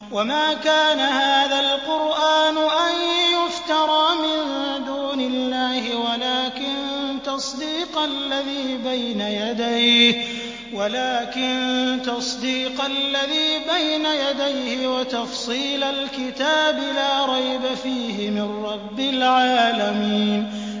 وَمَا كَانَ هَٰذَا الْقُرْآنُ أَن يُفْتَرَىٰ مِن دُونِ اللَّهِ وَلَٰكِن تَصْدِيقَ الَّذِي بَيْنَ يَدَيْهِ وَتَفْصِيلَ الْكِتَابِ لَا رَيْبَ فِيهِ مِن رَّبِّ الْعَالَمِينَ